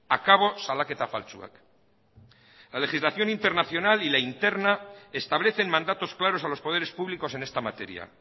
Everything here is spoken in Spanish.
akabo salaketa faltsuak la legislación internacional y la interna establecen mandatos claros a los poderes públicos en esta materia